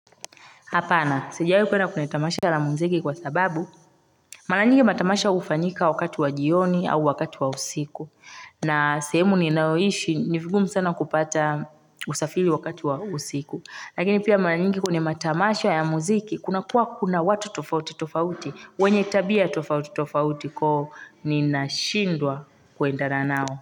Hapana sijawai kuenda kuona tamasha la muziki kwa sababu mara nyingi matamasha hufanyika wakati wa jioni au wakati wa usiku na sehemu ninayoishi ni vigumu sana kupata usafiri wakati wa usiku Lakini pia mara nyingi kuna matamasha ya muziki kuna kuwa kuna watu tofauti tofauti wenye tabia tofauti tofauti huko ninashindwa kuenda na wao.